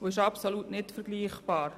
Das ist absolut nicht vergleichbar.